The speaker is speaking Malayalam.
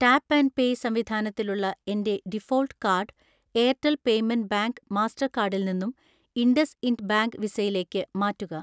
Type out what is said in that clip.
ടാപ്പ് ആൻഡ് പേ സംവിധാനത്തിലുള്ള എൻ്റെ default card Airtel payment bank മാസ്റ്റർകാർഡിൽ നിന്നും ഇൻഡസ്ഇൻഡ് ബാങ്ക് വിസയിലേക്ക്‌ മാറ്റുക.